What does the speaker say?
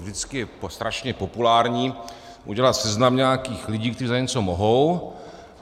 Vždycky je strašně populární udělat seznam nějakých lidí, kteří za něco mohou.